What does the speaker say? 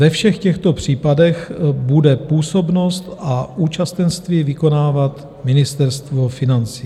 Ve všech těchto případech bude působnost a účastenství vykonávat Ministerstvo financí.